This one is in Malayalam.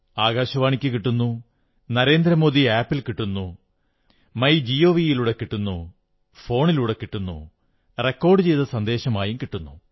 ആകാശവാണിക്കു കിട്ടുന്നു നരേന്ദ്രമോദി ആപ് ൽ കിട്ടുന്നു മൈ ഗവ് ലൂടെ കിട്ടുന്നു ഫോണിലൂടെ കിട്ടുന്നു റെക്കോർഡ് ചെയ്ത സന്ദേശമായും കിട്ടുന്നു